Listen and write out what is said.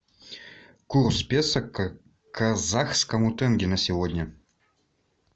курс песо к казахскому тенге на сегодня